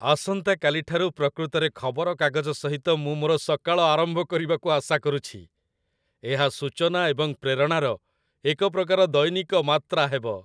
ଆସନ୍ତାକାଲି ଠାରୁ ପ୍ରକୃତରେ ଖବରକାଗଜ ସହିତ ମୁଁ ମୋର ସକାଳ ଆରମ୍ଭ କରିବାକୁ ଆଶା କରୁଛି। ଏହା ସୂଚନା ଏବଂ ପ୍ରେରଣାର ଏକ ପ୍ରକାର ଦୈନିକ ମାତ୍ରା ହେବ।